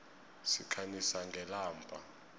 sikhanyisa ngelamba